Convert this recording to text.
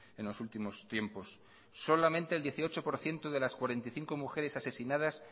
en los últimos tiempos solamente el dieciocho por ciento de las cuarenta y cinco mujeres asesinadas